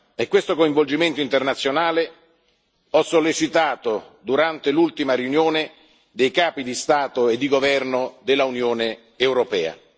È questo coinvolgimento internazionale che ho sollecitato durante l'ultima riunione dei capi di Stato e di governo dell'Unione europea.